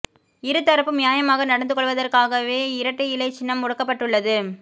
இரு தரப்பும் நியாயமாக நடந்து கொள்வதற்காகவே இரட்டை இலை சின்னம் முடக்கப்பட்டுள்ளது